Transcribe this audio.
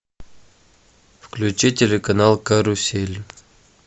включи телеканал карусель